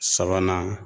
Sabanan